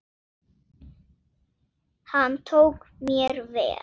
Hann tók mér vel.